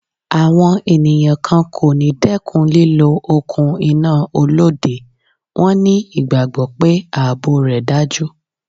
Àwọn ènìyàn kan kò ní dẹ́kun lílọ òkun iná Olóde, wón ní ìgbàgbọ́ pé ààbò rẹ̀ dájú.